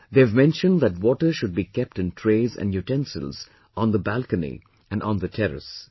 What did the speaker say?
They've mentioned that water should be kept in trays and utensils on the balcony and on the terrace